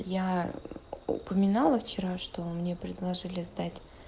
я упоминала вчера что мне предложили сдать